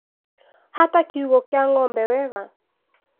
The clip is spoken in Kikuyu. Hata kiugũ kĩa ngombe wega